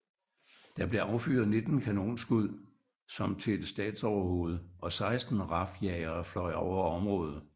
Der blev affyret 19 kanonskud som til et statsoverhoved og 16 RAF jagere fløj over området